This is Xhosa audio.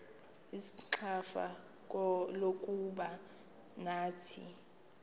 ixfsha lokuba nathi